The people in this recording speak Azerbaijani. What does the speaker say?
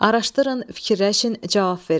Araşdırın, fikirləşin, cavab verin.